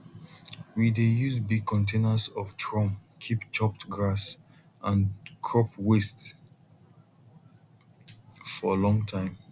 we dey use big containers of drum keep chopped grass and crop waste for long time